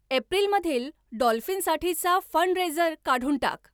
एप्रिलमधील डॉल्फिनसाठीचा फंडरेजर काढून टाक